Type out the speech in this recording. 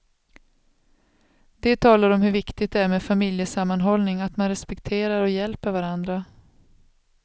Det talar om hur viktigt det är med familjesammanhållning, att man respekterar och hjälper varandra.